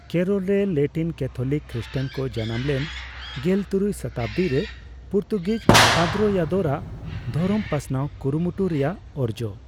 ᱠᱮᱨᱚᱞᱨᱮ Latin Catholic Christian ᱠᱚ ᱡᱟᱱᱟᱢᱞᱮᱱ ᱜᱮᱞ ᱛᱩᱨᱩᱭ ᱥᱚᱛᱟᱵᱫᱤᱨᱮ ᱯᱩᱨᱛᱩᱜᱤᱡ ᱯᱟᱫᱨᱳᱭᱟᱫᱳᱨ ᱟᱜ ᱫᱷᱚᱨᱚᱢ ᱯᱟᱥᱱᱟᱣ ᱠᱩᱨᱩᱢᱩᱴᱩ ᱨᱮᱭᱟᱜ ᱚᱨᱡᱚ᱾